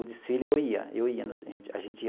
O desfile eu ia, eu ia a gente ia